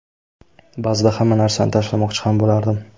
Ba’zida hamma narsani tashlamoqchi ham bo‘lardim.